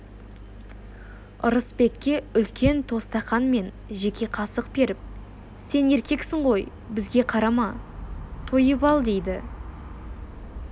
ырысбекке үлкен тостақан мен жеке қасық беріп сен еркексің ғой бізге қарама тойып ал дейді